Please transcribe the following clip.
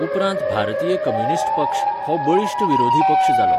उपरांत भारतीय कम्युनिस्ट पक्ष हो बळिश्ट विरोधी पक्ष जालो.